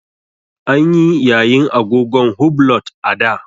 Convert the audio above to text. An yi yayin agogon hublot a da.